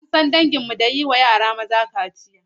An san danginmu da yi wa yara maza kaciya.